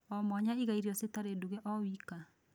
Omwanya iga irio citarĩ ndunge o wika.